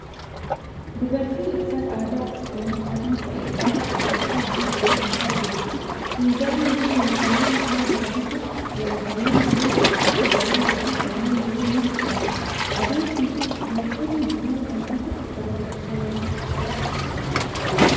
Dubartiin uffata aadaa haalluu adii ta'e qabu uffattee buna danfisaa jirti. Finjaalli fi meeshaaleen buna danfisuuf oolan kanneen biroo kan akka jabanaa fi kannneen biroo ni mul'atu. Adeemsi fi oomishoonni buna danfisuuf barbaachisan maal faa dha?